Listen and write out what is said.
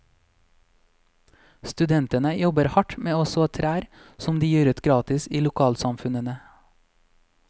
Studentene jobber hardt med å så trær som de gir ut gratis i lokalsamfunnene.